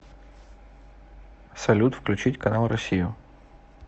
салют включить канал россию